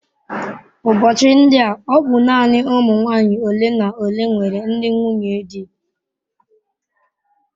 Ụbọchị ndi a ọ bụ naanị ụmụ nwanyị ole na ole nwere ndị nwunye di.